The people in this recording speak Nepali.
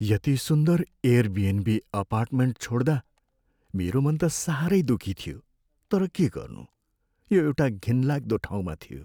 यति सुन्दर एयरबिएनबी अपार्टमेन्ट छोड्दा मेरो मन त साह्रै दुखी थियो, तर के गर्नु यो एउटा घिनलाग्दो ठाउँमा थियो।